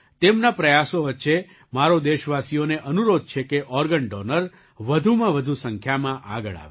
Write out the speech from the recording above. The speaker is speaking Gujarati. તેમના પ્રયાસો વચ્ચે મારો દેશવાસીઓને અનુરોધ છે કે ઑર્ગન ડૉનર વધુમાં વધુ સંખ્યામાં આગળ આવે